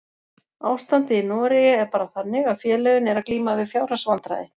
Ástandið í Noregi er bara þannig að félögin eru að glíma við fjárhagsvandræði.